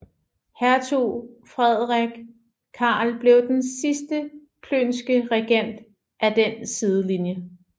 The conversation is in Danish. Hertug Frederik Karl blev den sidste plönske regent af den sidelinje